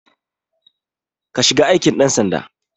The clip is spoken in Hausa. Ka shiga aikin ɗan sanda